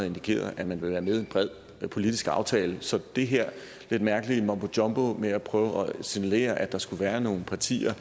indikeret at man vil være med i en bred politisk aftale så det her lidt mærkelige mumbo jumbo med at prøve at signalere at der skulle være nogle partier